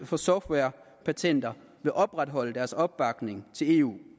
for softwarepatenter vil opretholde deres opbakning til eu